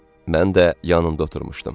Mən də yanında oturmuşdum.